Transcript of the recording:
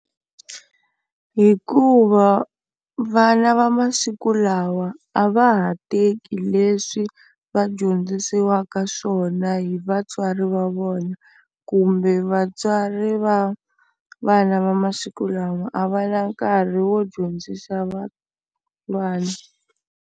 Hikuva vana va masiku lawa a va ha teki leswi va dyondzisiwaka swona hi vatswari va vona kumbe vatswari va vana va masiku lama a va na nkarhi wo dyondzisa .